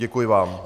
Děkuji vám.